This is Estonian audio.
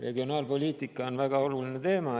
Regionaalpoliitika on väga oluline teema.